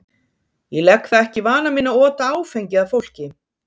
Ég legg það ekki í vana minn að ota áfengi að fólki.